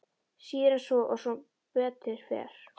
Síður en svo og sem betur fer.